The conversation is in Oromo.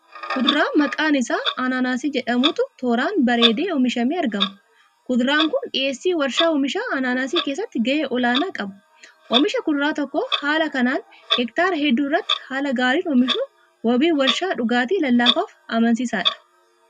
Kuduraa maqaan isaa anaanaasii jedhamutu tooraan bareedee oomishamee argama. Kuduraan kun dhiyeessii warshaa oomisha anaanaasii keessatti ga'ee olaanaa qaba. Oomisha kuduraa tokko haala kanaan hektaara hedduu irratti haala gaariin oomishuun wabii warshaa dhugaatii lallaafaaf amansiisaadha.